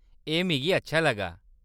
एह्‌‌ मिगी अच्छा लग्गा।